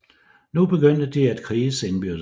Nu begyndte de at kriges indbyrdes